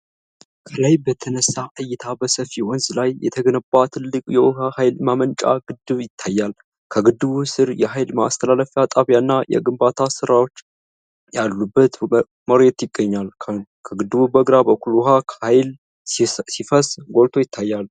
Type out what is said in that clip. ከላይ በተነሳ እይታ በሰፊ ወንዝ ላይ የተገነባ ትልቅ የውሃ ኃይል ማመንጫ ግድብ ይታያል። ከግድቡ ሥር የኃይል ማስተላለፊያ ጣቢያና የግንባታ ስራዎች ያሉበት መሬት ይገኛል። ከግድቡ በግራ በኩል ውሃ በኃይል ሲፈስ ጎልቶ ይታያል።